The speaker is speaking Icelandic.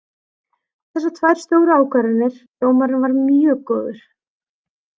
Þessar tvær stóru ákvarðanir, dómarinn var mjög góður.